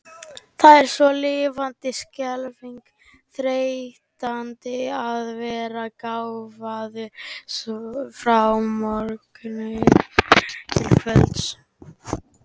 Það er svo lifandis skelfing þreytandi að vera gáfaður frá morgni til kvölds.